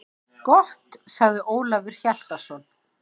Gott, sagði Ólafur Hjaltason.